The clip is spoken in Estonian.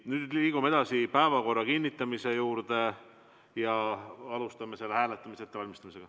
Nüüd liigume edasi päevakorra kinnitamise juurde ja alustame selle hääletamise ettevalmistamist.